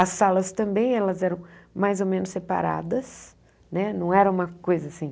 As salas também elas eram mais ou menos separadas, né não eram uma coisa assim...